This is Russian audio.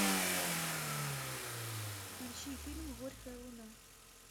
включи фильм горькая луна